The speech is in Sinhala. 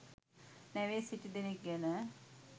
නැවේ සිටිදෙනක් ගැන